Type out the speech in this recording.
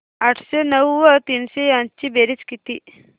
आठशे नऊ व तीनशे यांची बेरीज किती